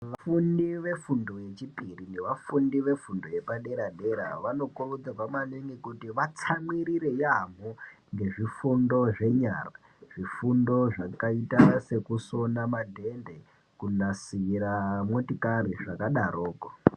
Vafundi vefundo yechipiri nevafundi vefundo yepadera-dera vanokurudzirwa maningi kuti vatsamwirire yaamho ngezvifundo zvenyara. Zvifundo zvakaita sekusona madhende, kunasira motikari, zvakadaroko.